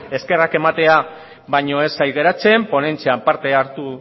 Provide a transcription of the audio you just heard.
eskerrak ematea baino ez zait geratzen ponentzian parte hartu